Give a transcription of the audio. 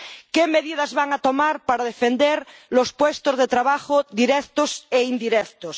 ¿Qué medidas va a tomar para defender los puestos de trabajo directos e indirectos?